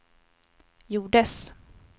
gjordes